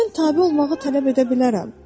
Mən tabe olmağı tələb edə bilərəm.